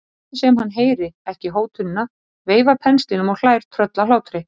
Ég ætla nú ekki að fara að halda þér í bænum gegn vilja þínum.